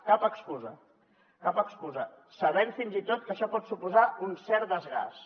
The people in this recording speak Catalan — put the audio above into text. cap excusa cap excusa sabent fins i tot que això pot suposar un cert desgast